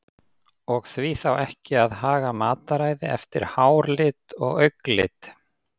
Og því þá ekki að haga mataræði eftir háralit eða augnlit?